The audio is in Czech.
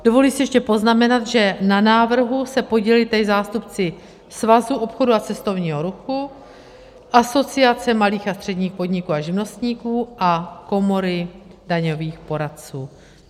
Dovoluji si ještě poznamenat, že na návrhu se podíleli tady zástupci Svazu obchodu a cestovního ruchu, Asociace malých a středních podniků a živnostníků a Komory daňových poradců.